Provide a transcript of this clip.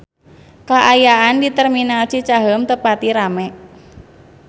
Kaayaan di Terminal Cicaheum teu pati rame